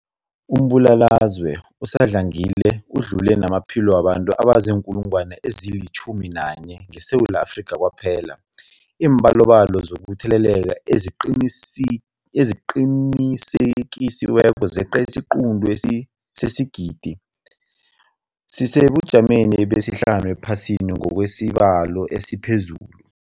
Umbulalazwe usadlangile udlule namaphilo wabantu abaziinkulungwana ezi-11 ngeSewula Afrika kwaphela. Iimbalobalo zokutheleleka eziqinisekisiweko zeqe isiquntu sesigidi, sisesebujameni besihlanu ephasini ngokwesibalo esiphezulu.